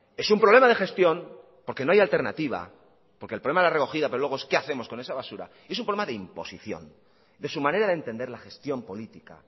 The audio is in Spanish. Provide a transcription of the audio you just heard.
es un problema de gestión porque no hay alternativa porque el problema de la recogida pero luego es qué hacemos con esa basura es un problema de imposición de su manera de entender la gestión política